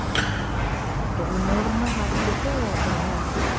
ok. ಈ ಮೂರುನ್ನು ಹಾಕ್ಬಿಟ್ಟು ಒಗ್ಗರಣೆ ಮಾಡ್ತೀರ?